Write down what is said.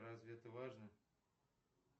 разве это важно